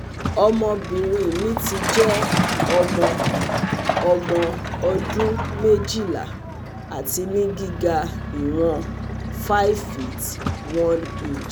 ọmọbìnrin mi ti jẹ ọmọ ọmọ ọdún méjìlá ati ni giga iwon five feet one inches